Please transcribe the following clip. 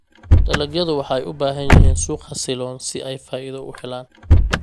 Dalagyadu waxay u baahan yihiin suuq xasiloon si ay faa'iido u helaan.